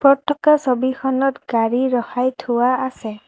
ছবিখনত গাড়ী ৰখাই থোৱা আছে।